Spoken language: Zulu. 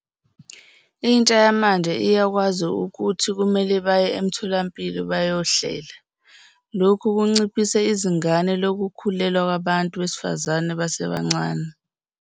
Intsha yamanje iyakwazi ukuthi kumele baye emtholampilo bayohlela. Lokhu kunciphise izingana lokukhulelwa kwabantu besifazane besasebancane.